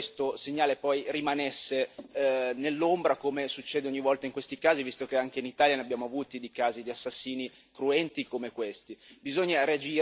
Io non vorrei che questo segnale rimanesse nell'ombra, come succede ogni volta in questi casi, visto che anche in Italia abbiamo avuto dei casi di assassini cruenti come questi.